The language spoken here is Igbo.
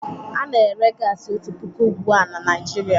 Ana ere gasi otu puku ugbu a na Naijiria